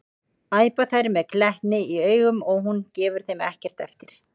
æpa þær með glettni í augunum og hún gefur þeim ekkert eftir.